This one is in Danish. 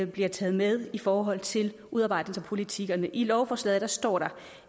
bliver taget med i forhold til udarbejdelse af politikkerne i lovforslaget står der